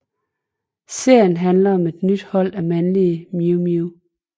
Serien handler om et nyt hold af mandlige Mew Mew